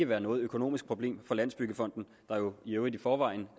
være noget økonomisk problem for landsbyggefonden der jo i øvrigt i forvejen